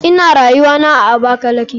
Ina rayuwana a abakalaki.